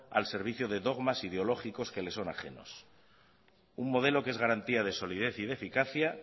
al servicio de dogmas ideológicos que le son ajenos un modelo que es garantía de solidez y de eficacia